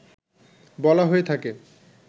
বলা হয়ে থাকে